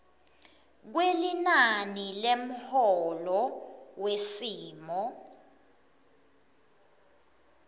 kwelinani lemholo wesimo